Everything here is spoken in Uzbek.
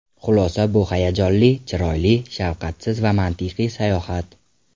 Xulosa Bu hayajonli, chiroyli, shafqatsiz va mantiqiy sayohat.